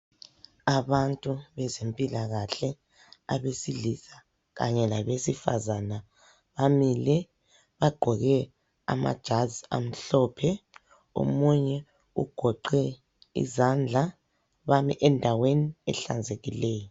Abantu bezempilakahle, abesilisa kanye labesifazana bamile. Bagqoke amajazi amhlophe, omunye ugoqe izandla, bami endaweni ehlanzekileyo.